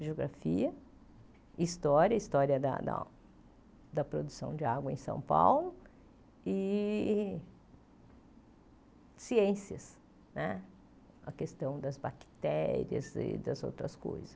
Geografia, história, história da da da produção de água em São Paulo e ciências né, a questão das bactérias e das outras coisas.